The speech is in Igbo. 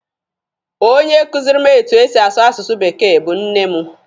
Onye kuziri m etu esi asụ asụsụ bekee bụ nne mụ.